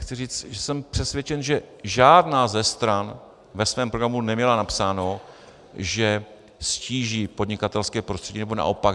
Chci říct, že jsem přesvědčen, že žádná ze stran ve svém programu neměla napsáno, že ztíží podnikatelské prostředí nebo naopak.